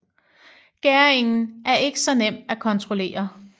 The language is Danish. Gæringen er ikke så nem at kontrollere